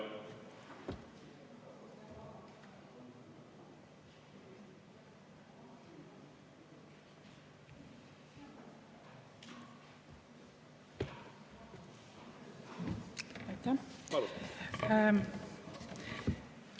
Aitäh!